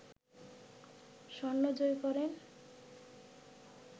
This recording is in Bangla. স্বর্ণ জয় করেন